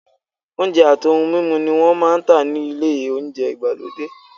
Oúnjẹ àti ohun mímu ni wọ́n máa ń tà ní ilé oúnjẹ ìgbàlódé.